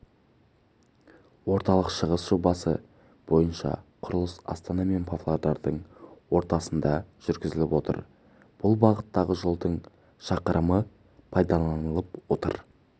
орталық-шығыс жобасы бойынша құрылыс астана мен павлодардың ортасында жүргізіліп отыр бұл бағыттағы жолдың шақырымы пайдаланылып отыр